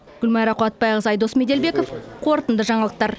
гүлмайра қуатбайқызы айдос меделбеков қорытынды жаңалықтар